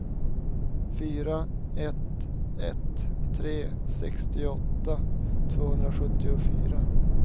fyra ett ett tre sextioåtta tvåhundrasjuttiofyra